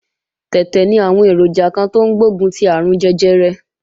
Tẹ̀tẹ̀ ní àwọn èròjà kan tó ń gbógun ti àrùn jẹjẹrẹ